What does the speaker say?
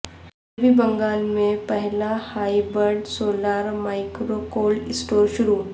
مغربی بنگال میں پہلا hybrid solar micro cold store شروع